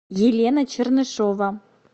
елена чернышова